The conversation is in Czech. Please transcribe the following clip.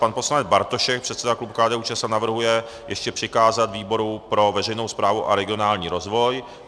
Pan poslanec Bartošek, předseda klubu KDU-ČSL navrhuje ještě přikázat výboru pro veřejnou správu a regionální rozvoj.